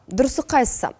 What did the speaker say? дұрысы қайсы